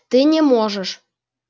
ты не можешь